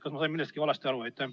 Kas ma sain millestki valesti aru?